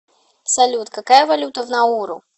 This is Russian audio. салют какая валюта в науру